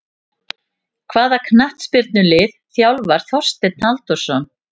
Hvaða knattspyrnulið þjálfar Þorsteinn Halldórsson?